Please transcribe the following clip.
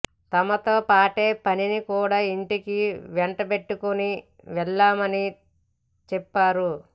తమతో పాటే పనిని కూడా ఇంటికి వెంటబెట్టుకుని వెళ్లమని చెప్పారు